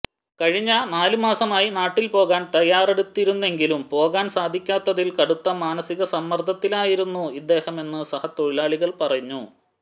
കഴിഞ്ഞ നാല് മാസമായി നാട്ടിൽ പോകാൻ തയാറെടുത്തിരുന്നെങ്കിലും പോകാൻ സാധിക്കാത്തതിൽ കടുത്ത മാനസിക സമ്മർദ്ദത്തിലായിരുന്നു ഇദ്ദേഹമെന്ന് സഹ തൊഴിലാളികൾ പറഞ്ഞു